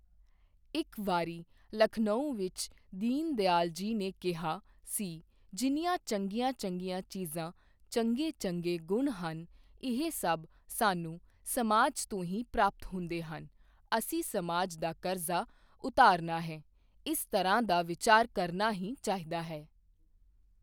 ਇੱਕ ਵਾਰੀ ਲਖਨਊ ਵਿੱਚ ਦੀਨ ਦਿਆਲ ਜੀ ਨੇ ਕਿਹਾ ਸੀ ਜਿੰਨੀਆਂ ਚੰਗੀਆਂ ਚੰਗੀਆਂ ਚੀਜ਼ਾਂ, ਚੰਗੇ ਚੰਗੇ ਗੁਣ ਹਨ ਇਹ ਸਭ ਸਾਨੂੰ ਸਮਾਜ ਤੋਂ ਹੀ ਪ੍ਰਾਪਤ ਹੁੰਦੇ ਹਨ, ਅਸੀਂ ਸਮਾਜ ਦਾ ਕਰਜ਼ਾ ਉਤਾਰਨਾ ਹੈ, ਇਸ ਤਰ੍ਹਾਂ ਦਾ ਵਿਚਾਰ ਕਰਨਾ ਹੀ ਚਾਹੀਦਾ ਹੈ।